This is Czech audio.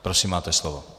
Prosím, máte slovo.